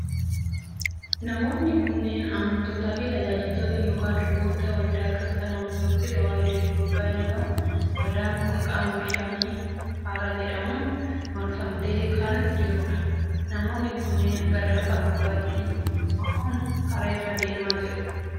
Namoonni kunneen amantootaa fi tajaajiltoota yookiin luboota waldaa Kiristaana Ortodooksii Tawaahidoo Itoophiyaa yoo ta'un, waldaan kun qaama bishaanii hara jedhamuun marfamtee kan jiruu dha. Namoonni kunneen, gara lafa gogaatti bahuuf hara irra deemaa jiru.